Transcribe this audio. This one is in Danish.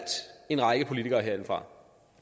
en række politikere herindefra